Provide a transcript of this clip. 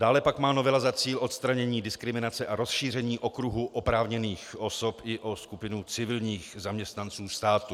Dále pak má novela za cíl odstranění diskriminace a rozšíření okruhu oprávněných osob i o skupinu civilních zaměstnanců státu.